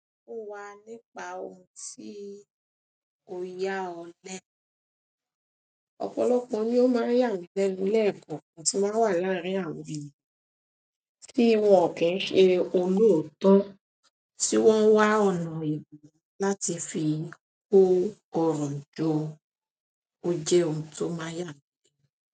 Fún wa nípa ohun tí o yá ọ lẹ́. Ọ̀pọ̀lọpọ̀ ni ó máa ń yà mí lẹ́nu lẹ́ẹ̀kan kan tí máa ń wà láàárín àwọn ènìyàn tí wọ́n kí ń ṣe olóòótọ́ tí wọ́n wá ọ̀nà èbùru láti fi kó ọrun jo. Ó jẹ́ ohun tó máa ń yà mí.